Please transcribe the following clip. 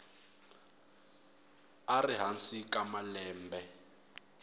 a ri hansi ka malembe